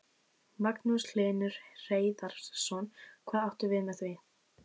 Magnús Hlynur Hreiðarsson: Hvað áttu við með því?